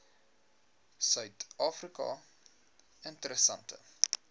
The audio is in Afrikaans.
suid afrika interessante